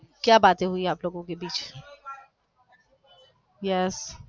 क्या बाते हुए आप लोगो के बीच yes